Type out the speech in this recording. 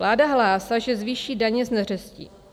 Vláda hlásá, že zvýší daně z neřestí.